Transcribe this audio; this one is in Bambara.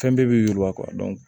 Fɛn bɛɛ bɛ yiriwa